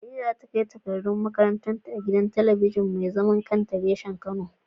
Khadija za ta kai takardun karatun ta a gidan talabijin mai zaman kanta reshen kano.